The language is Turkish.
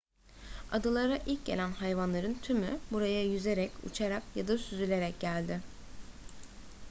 adalara ilk gelen hayvanların tümü buraya yüzerek uçarak ya da süzülerek geldi